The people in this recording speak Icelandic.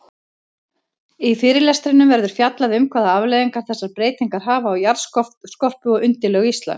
Í fyrirlestrinum verður fjallað um hvaða afleiðingar þessar breytingar hafa á jarðskorpu og undirlög Íslands.